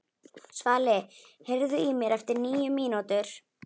Svali, heyrðu í mér eftir níu mínútur.